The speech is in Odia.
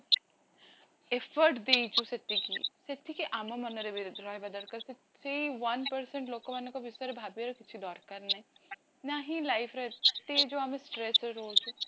effort ଦେଇଛୁ ସେତିକି, ସେତିକି ଆମ ମନରେବି ରହିବା ଦରକାର କି ସେଇ one percent ଲୋକଙ୍କ ଵିଶେରେ ଭାବିବା କିଛି ଦରକାର ନାହିଁ, ନା ହିଁ life ରେ ଏତେ ଆମେ ଯୋଉ stress ରେ ରହୁଛୁ